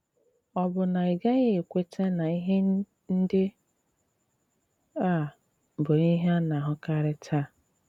Ọ̀ bụ na ị gaghị ekwètà na ihe ndị à bụ ihe à na-ahùkàrị tàà?